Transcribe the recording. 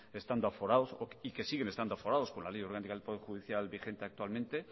estando aforados y que siguen estando aforados con la ley orgánica del poder judicial vigente actualmente